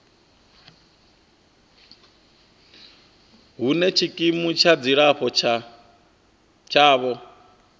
hune tshikimu tsha dzilafho tshavho